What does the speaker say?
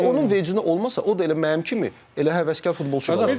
Onun vecə olmasa, o da elə mənim kimi elə həvəskar futbolçu.